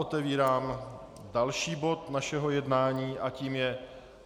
Otevírám další bod našeho jednání a tím je